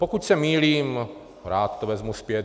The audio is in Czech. Pokud se mýlím, rád to vezmu zpět.